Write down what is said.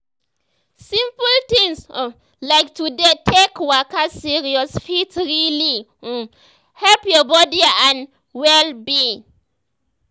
simple things um like to dey take waka serious fit really um help your body and um wellbeing.